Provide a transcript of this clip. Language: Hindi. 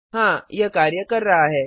हाँ यह कार्य कर रहा है